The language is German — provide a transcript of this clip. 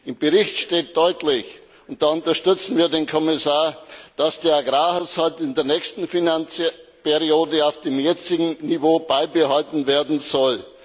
Im Bericht steht deutlich und da unterstützen wir den Kommissar dass der Agrarhaushalt in der nächsten Finanzperiode auf dem jetzigen Niveau beibehalten werden soll.